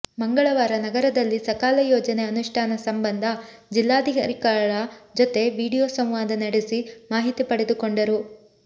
ಮಂಗಳವಾರ ನಗರದಲ್ಲಿ ಸಕಾಲ ಯೋಜನೆ ಅನುಷ್ಠಾನ ಸಂಬಂಧ ಜಿಲ್ಲಾಧಿಕಾರಿಗಳ ಜೊತೆ ವಿಡಿಯೋ ಸಂವಾದ ನಡೆಸಿ ಮಾಹಿತಿ ಪಡೆದುಕೊಂಡರು